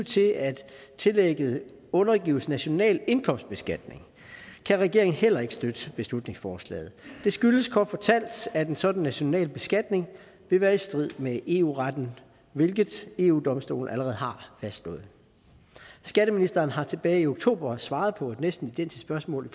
til at tillægget undergives national indkomstbeskatning kan regeringen heller ikke støtte beslutningsforslaget det skyldes kort fortalt at en sådan national beskatning vil være i strid med eu retten hvilket eu domstolen allerede har fastslået skatteministeren har tilbage i oktober svaret på et næsten identisk spørgsmål i